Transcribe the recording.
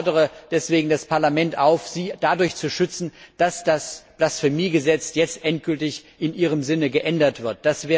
Ich fordere deswegen das Parlament auf, sie dadurch zu schützen, dass das Blasphemiegesetz jetzt endgültig in ihrem Sinne geändert wird.